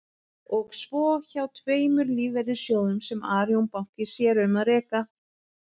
Og svo hjá tveimur lífeyrissjóðum sem Arion banki sér um að reka.